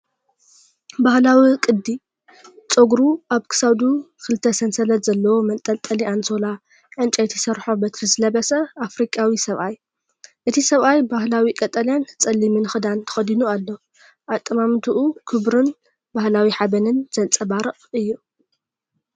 ባህላዊ ቅዲ ጸጉሩ፡ ኣብ ክሳዱ ክልተ ሰንሰለት ዘለዎ መንጠልጠሊ ኣንሶላ፡ ዕንጨይቲ ዝሰርሖ በትሪ ዝለበሰ ኣፍሪቃዊ ሰብኣይ። እቲ ሰብኣይ ባህላዊ ቀጠልያን ጸሊምን ክዳን ተኸዲኑ ኣሎ። ኣጠማምታኡ ክብርን ባህላዊ ሓበንን ዘንጸባርቕ እዩ።